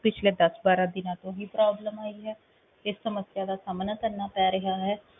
ਪਿੱਛਲੇ ਦਸ ਬਾਰਾਂ ਦਿਨਾਂ ਤੋਂ ਹੀ problem ਆਈ ਹੈ ਇਸ ਸਮੱਸਿਆ ਦਾ ਸਾਮਣਾ ਕਰਨਾ ਪੈ ਰਿਹਾ ਹੈ?